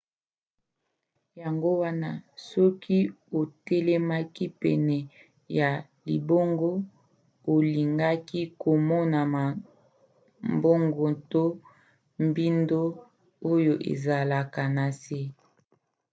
yango wana soki otelemaki pene ya libongo olingaki komona mabongo to mbindo oyo ezalaka na se